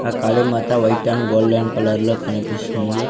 ఆ Kalimata white and golden colour లో కనిపిస్తుంది.